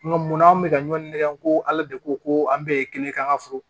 Nka munna anw bɛ ka ɲɔngɔn ko ala de ko ko an bɛɛ ye kelen kɛ an ka foro